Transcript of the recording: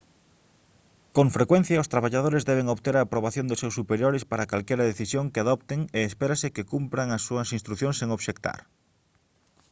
con frecuencia os traballadores deben obter a aprobación dos seus superiores para calquera decisión que adopten e espérase que cumpran as súas instrucións sen obxectar